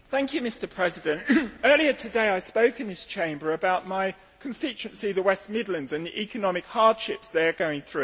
Mr President, earlier today I spoke in this Chamber about my constituency, the West Midlands, and the economic hardships it is going through.